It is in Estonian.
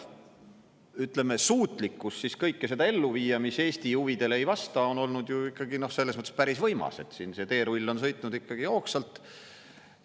" Ütleme, suutlikkus kõike seda ellu viia, mis Eesti huvidele ei vasta, on olnud ju ikkagi selles mõttes päris võimas, siin see teerull on sõitnud ikkagi hoogsalt.